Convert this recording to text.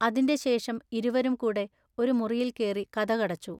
അതിന്റെ ശെഷം ഇരുവെരും കൂടെ ഒരു മുറിയിൽ കേറി കതകടച്ചു.